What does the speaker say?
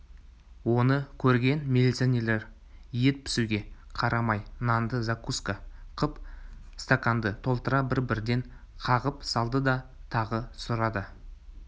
оны көрген милиционерлер ет пісуге қарамай нанды закуска қып стаканды толтыра бір-бірден қағып салды да тағы сұрады